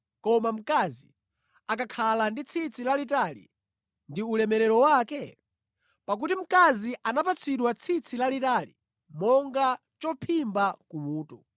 koma mkazi akakhala ndi tsitsi lalitali ndi ulemerero wake? Pakuti mkazi anapatsidwa tsitsi lalitali monga chophimba kumutu.